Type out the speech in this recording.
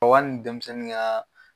Ɔ ka n denmisɛnnin ŋaa